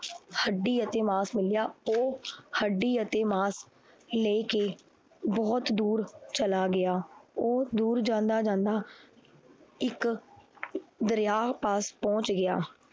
ਹੱਡੀ ਅਤੇ ਮਾਸ ਮਿਲਿਆ, ਉਹ ਹੱਡੀ ਅਤੇ ਮਾਸ ਲੈ ਕੇ ਬਹੁਤ ਦੂਰ ਚਲਾ ਗਿਆ, ਉਹ ਦੂਰ ਜਾਂਦਾ ਜਾਂਦਾ ਇੱਕ ਦਰਿਆ ਪਾਸ ਬਹੁਤ ਗਿਆ।